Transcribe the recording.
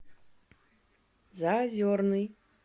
заозерный